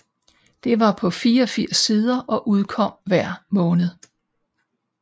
Det var på 84 sider og udkom hver måned